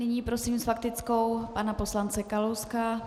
Nyní prosím s faktickou pana poslance Kalouska.